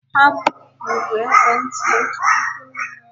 Ha bupụrụ ekwentị otu puku na narị itoolu n'afọ gara aga.